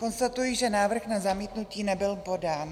Konstatuji, že návrh na zamítnutí nebyl podán.